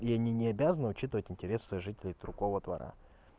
и они не обязаны учитывать интересы жителей другого двора